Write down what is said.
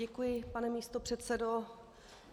Děkuji, pane místopředsedo.